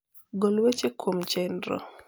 gol weche kuom chenro